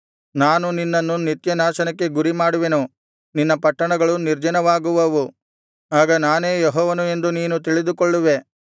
ನಾನು ನಿನ್ನನ್ನು ನಿತ್ಯನಾಶನಕ್ಕೆ ಗುರಿಮಾಡುವೆನು ನಿನ್ನ ಪಟ್ಟಣಗಳು ನಿರ್ಜನವಾಗುವವು ಆಗ ನಾನೇ ಯೆಹೋವನು ಎಂದು ನೀನು ತಿಳಿದುಕೊಳ್ಳುವೆ